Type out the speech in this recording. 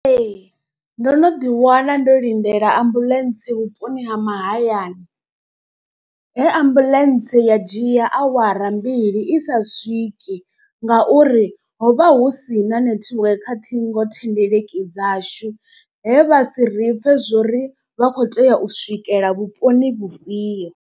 Ee ndo no ḓi wana ndo lindela ambuḽentse vhuponi ha mahayani. He ambuḽentse ya dzhia awara mbili i sa swiki ngauri ho vha hu si na nethiweke kha ṱhingo thendeleki dzashu. He vha si ri pfhe zwori vha kho tea u swikela vhuponi vhufhio.